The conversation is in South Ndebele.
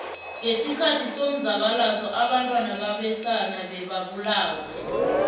ngesikhathi somzabalazo obantwana babesana bebabulawa